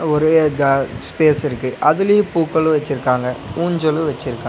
ஒரு க ஸ்பேஸ் இருக்கு அதுலயு பூக்களு வெச்சுருக்காங்க ஊஞ்சலு வெச்சுருக்காங்க.